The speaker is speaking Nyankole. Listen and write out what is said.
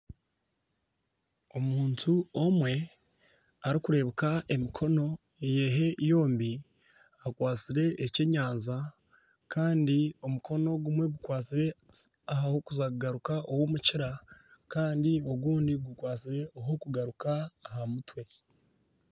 Omuntu omwe arikurebeka emikono ye yombi akwatsire ekyenyanja kandi omukono gumwe gukwastire ahakuza kugaruka ow'omukira kandi ogundi gukwastire aha kugaruka aha mutwe.